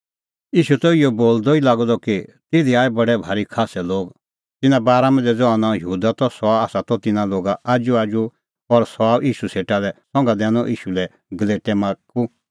ईशू त इहअ बोलदअ ई लागअ द कि तिधी आऐ बडै भारी खास्सै लोग तिन्नां बारा मांझ़ै ज़हा नांअ यहूदा त सह त तिन्नां लोगा आजूआजू और सह आअ ईशू सेटा लै संघा दैनअ ईशू लै गलेटै माख्खू